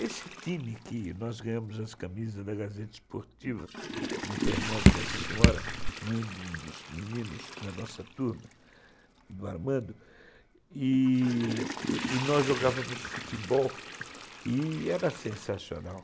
Esse time que nós ganhamos as camisas da Gazeta Esportiva por intermédio da senhora, mãe de um dos meninos da nossa turma, do Armando, e nós jogávamos futebol e era sensacional.